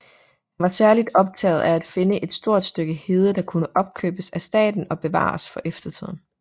Han var særligt optaget af at finde et stort stykke hede der kunne opkøbes af staten og bevares for eftertiden